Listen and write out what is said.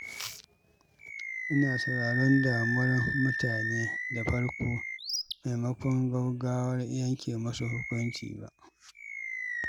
Ina sauraron damuwar mutane da farko maimakon gaugawar yanke musu hukunci ba.